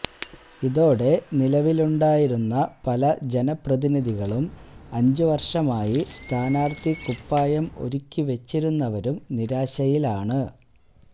ഇതോടെ നിലവിലുണ്ടായിരുന്ന പല ജനപ്രതിനിധികളും അഞ്ച് വര്ഷമായി സ്ഥാനാര്ത്ഥി കുപ്പായം ഒരുക്കി വെച്ചിരുന്നവരും നിരാശയിലാണ്